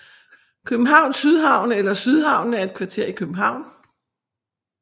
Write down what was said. Københavns Sydhavn eller Sydhavnen er et kvarter i København